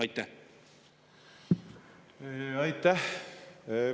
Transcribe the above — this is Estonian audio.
Aitäh!